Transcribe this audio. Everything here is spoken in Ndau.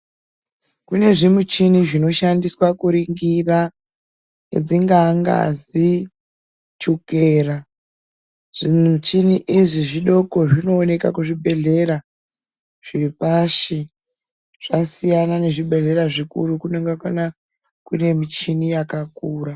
Kune zvimichini zvinoshandiswa kuringira dzingaa ngazi ,chukera, zvimichini izvi zvidoko zvinowoneka kuzvibhedhlera zvepashi, zvasiyana nezvibhedhlera zvikuru, kunonga kuna kune michini yakakura.